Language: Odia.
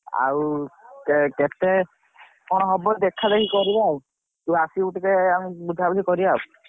ଆଉ କେତେ କଣ ହବ ଦେଖା ଦେଖି କରିବା ଆଉ ତୁ ଆସିବୁ ଟିକେ ଆମେ ବୁଝା ବୁଝି କରିବା ଆଉ।